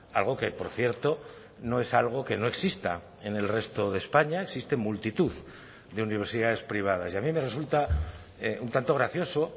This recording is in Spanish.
algo que por cierto no es algo que no exista en el resto de españa existen multitud de universidades privadas y a mí me resulta un tanto gracioso